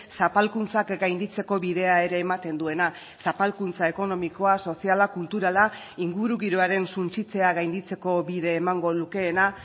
zapalkuntzak gainditzeko bidea ere ematen duena zapalkuntza ekonomikoa soziala kulturala ingurugiroaren suntsitzea gainditzeko bide emango lukeena